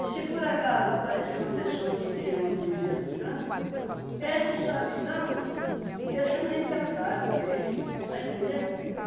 E se por acaso aparecer uma pessoa que tira uma poesia do trânsito, esse sabidão, ele chama a gente de otário, de besta, está entendendo?